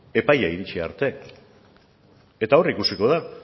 epaia iritsi arte eta hor ikusiko da